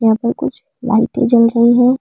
यहां पर कुछ लाइटें जल रही है।